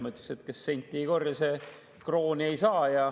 Ma ütleksin, et kes senti ei korja, see krooni ei saa.